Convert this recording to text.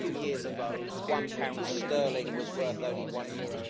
A few years ago one pound sterling was worth only EUR